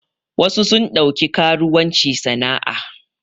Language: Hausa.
Wasu sun ɗauki karuwanci sana a